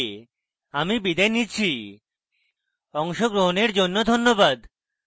I I T Bombay থেকে আমি বিদায় নিচ্ছি অংশগ্রহণের জন্য ধন্যবাদ